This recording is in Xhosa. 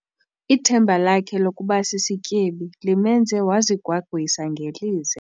Ithemba lakhe lokuba sisityebi limenze wazigwagwisa ngelize.